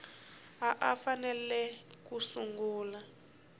a a fanele ku sungula